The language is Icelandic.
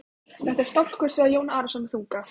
Þetta er skálkur, sagði Jón Arason með þunga.